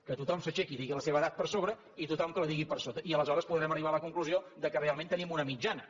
que tothom s’aixequi i digui la seva edat per sobre i tothom que la digui per sota i aleshores podrem arribar a la conclusió que realment tenim una mitjana